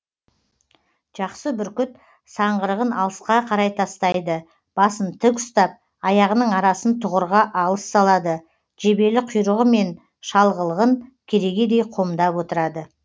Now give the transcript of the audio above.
жақсы бүркіт саңғырығын алысқа қарай тастайды басын тік ұстап аяғының арасын тұғырға алыс салады жебелі құйрығы мен шалғылығын керегедей қомдап отырады